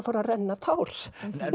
fór að renna tár